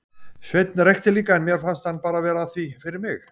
Sveinn reykti líka en mér fannst hann bara vera að því fyrir mig.